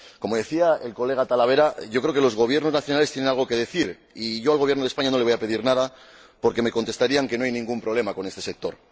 Como decía el colega Tarabella, yo creo que los gobiernos nacionales tienen algo que decir y yo al Gobierno de España no le voy a decir nada porque me contestarían que no hay ningún problema con ese sector.